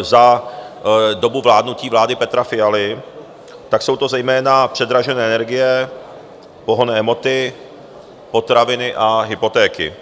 za dobu vládnutí vlády Petra Fialy, tak jsou to zejména předražené energie, pohonné hmoty, potraviny a hypotéky.